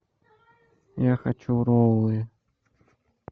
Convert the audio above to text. я хочу роллы